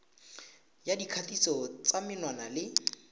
ya dikgatiso tsa menwana le